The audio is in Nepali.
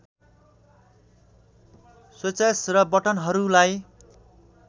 स्विचेस र बटनहरूलाई